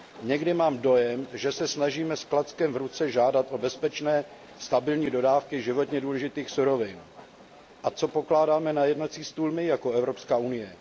Někdy mám dojem, že se snažíme s klackem v ruce žádat o bezpečné, stabilní dodávky životně důležitých surovin. A co pokládáme na jednací stůl my jako Evropská unie?